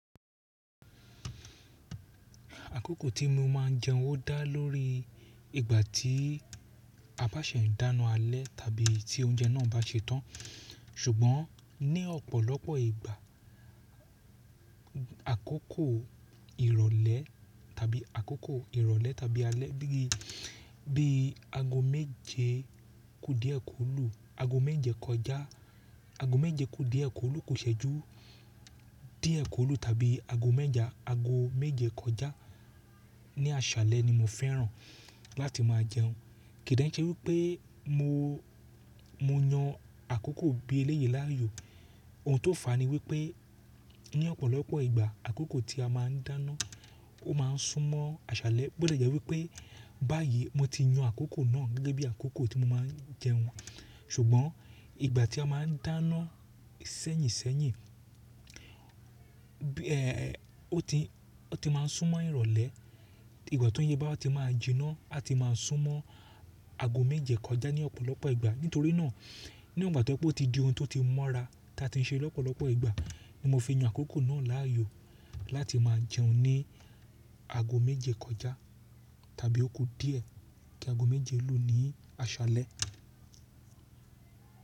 Àkókò tí mo máà ń jẹun ó dá lórí ìgbà tí a bá ṣẹ̀ ń dáná alẹ́ tàbí tí oúnjẹ náà bá ṣe tán. Ṣùgbọ́n ní ọ̀pọ̀lọpọ̀ ìgbà àkókò ìrọ̀lẹ́ tàbí àkókò ìrọ̀lẹ́ tàbí alẹ́ gígé bíi aago méje kù díẹ̀ kólù, aago méje kọjá, aago méje ku díẹ̀ kólù kò ṣẹ̀jú, díẹ̀ kólù tàbí aago méje kọjá ní àṣálẹ́ ni mo fẹ́ràn láti máa jẹun. Kìí dẹ̀ ń ṣe wípé mo, mo yan àkókò bí eléyè láàyò. Ohun tó fà á ni wípé ní ọ̀pọ̀lọpọ̀ ìgbà àkókò tí a máà ń dáná ó máa ń sún mọ́ àṣálẹ́. Bó dẹ̀ jẹ́ wípé báyìí mo ti yan àkókò náà gẹ́gẹ́ bí àkókò tí mo máa ń jẹun. Ṣùgbọ́n ìgbà tí a máà ń dáná sẹ́yìnṣẹ́yìn, ẹ́ ẹ́ ọ tí, ọ tí máa ń sún mọ́ ìrọ̀lẹ́. Ìgbà tó oúnjẹ bá wà ti máa jìnnà a ti máa sún mọ́ aago méje kọjá ní ọ̀pọ̀lọpọ̀ ìgbà. Nítorí náà, níwọ̀n ìgbà tí ó ti di ohun tó ti mọ́ra tí a ti ń ṣe lọ́pọ̀lọpọ̀ ìgbà ní mo fi yan àkókò náà láàyò láti máa jẹun ní aago méje kọjá tàbí ó kú díẹ̀ kí aago méje lù ní àṣálẹ́.